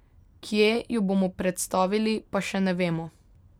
Kje jo bomo predstavili, pa še ne vemo.